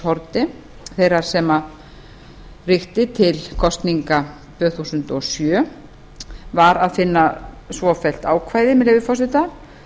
haarde þeirrar sem ríkti til kosninga tvö þúsund og sjö var að finna svofellt ákvæði með leyfi forseta